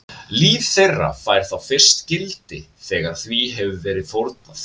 Líf þeirra fær þá fyrst gildi þegar því hefur verið fórnað.